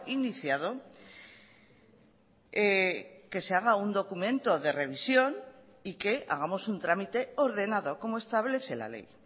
iniciado que se haga un documento de revisión y que hagamos un trámite ordenado como establece la ley